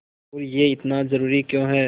और यह इतना ज़रूरी क्यों है